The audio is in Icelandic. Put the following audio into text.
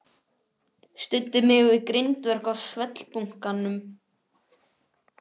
Studdi mig við grindverk á svellbunkanum.